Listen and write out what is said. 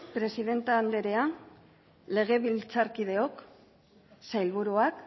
presidente anderea legebiltzarkideok sailburuak